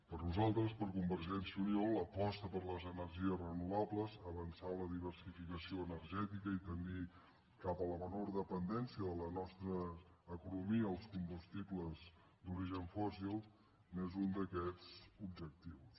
per nosaltres per convergència i unió l’aposta per les energies renovables avançar en la diversificació energè·tica i tendir cap a la menor dependència de la nostra eco·nomia als combustibles d’origen fòssil és un d’aquests objectius